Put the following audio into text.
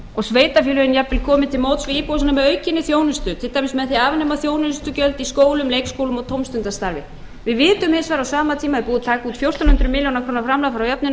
til móts við íbúana með aukinni þjónustu til dæmis með því að afnema þjónustugjöld í skólum leikskólum og tómstundastarfi við vitum hins vegar að á sama tíma er búið að taka út fjórtán hundruð milljóna króna